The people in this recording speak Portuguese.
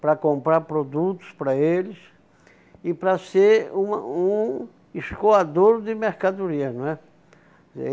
para comprar produtos para eles e para ser um ah um escoador de mercadorias, não é?